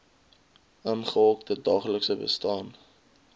ingehokte daaglikse bestaan